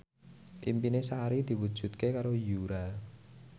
impine Sari diwujudke karo Yura